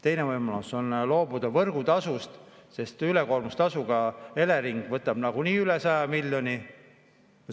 Teine võimalus on loobuda võrgutasust, sest ülekoormustasuga võtab Elering nagunii üle 100 miljoni.